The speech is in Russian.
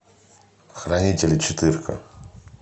хранители четыре ка